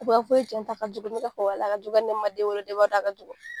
Jɛnta a ka jugu ne b'a fɔ walayi a ka jugu hali ne min man den wolo ne b'a dɔn a ka jugu.